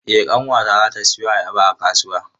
Eh ƙanwata zata siyo ayaba a kasuwa.